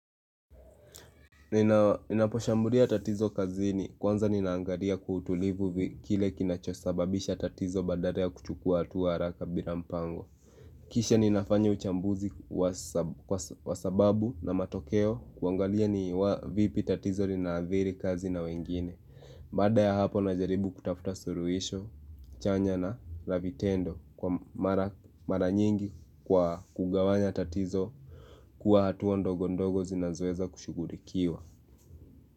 Ninaposhambulia tatizo kazini kwanza ninaangalia kwa utulivu kile kinachosababisha tatizo badala ya kuchukua hatua haraka bila mpango Kisha ninafanya uchambuzi wa sababu na matokeo kuangalia ni wa vipi tatizo lina adhiri kazi na wengine Baada ya hapo, najaribu kutafuta suluhisho chanya na la vitendo kwa mara nyingi kwa kugawanya tatizo kuwa hatua ndogo ndogo zinazoweza kushughulikiwa.